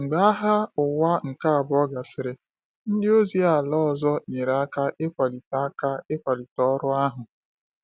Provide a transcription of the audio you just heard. Mgbe Agha Ụwa nke Abụọ gasịrị, ndị ozi ala ọzọ nyere aka ịkwalite aka ịkwalite ọrụ ahụ.